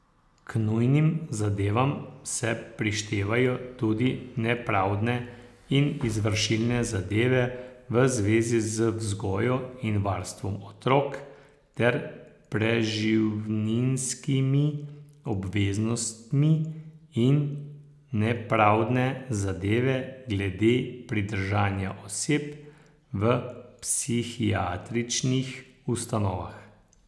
K nujnim zadevam se prištevajo tudi nepravdne in izvršilne zadeve v zvezi z vzgojo in varstvom otrok ter preživninskimi obveznostmi in nepravdne zadeve glede pridržanja oseb v psihiatričnih ustanovah.